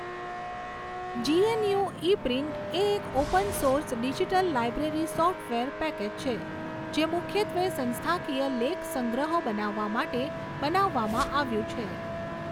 GNU eprint એ એક open source digital library software package છે, જે મુખ્યત્વે સંસ્થાકીય લેખસંગ્રહો બનાવવા માટે બનાવવામાં આવ્યું છે.